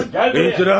Gəl də!